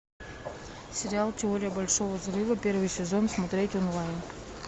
сериал теория большого взрыва первый сезон смотреть онлайн